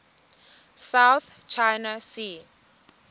south china sea